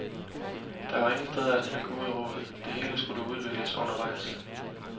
Der var ingen steder at hente gode råd, det hele skulle udvikles under vejs.